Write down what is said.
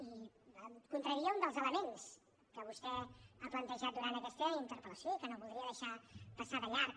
i em contradeia un dels elements que vostè ha plantejat durant aquesta interpel·lació i que no voldria deixar passar de llarg